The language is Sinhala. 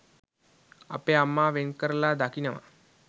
අපේ අම්මා වෙන්කරලා දකිනවා.